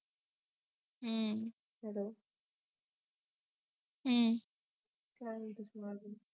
हं हं काय म्हणतेस मंग अजून